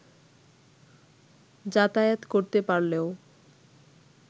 যাতায়াত করতে পারলেও